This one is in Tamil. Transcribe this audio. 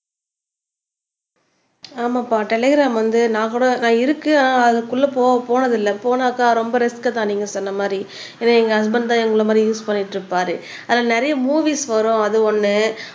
ஆமாப்பா டெலிகிராம் வந்து நான் கூட நான் இருக்கேன் அதுக்குள்ள போ போனதில்லை போனாக்கா ரொம்ப ரிஸ்க்தான் நீங்க சொன்ன மாதிரி ஏன்னா எங்க ஹஸ்பண்ட் தான் எங்களை மாதிரி யூஸ் பண்ணிட்டு இருப்பாரு அதுல நிறைய மூவிஸ் வரும் அது ஒண்ணு